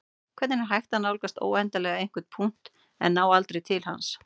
Hvernig er hægt að nálgast óendanlega einhvern punkt en ná aldrei til hans?